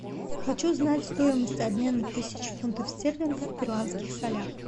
хочу знать стоимость обмена тысячи фунтов стерлингов в перуанских солях